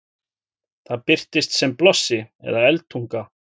það birtist sem blossi eða eldtunga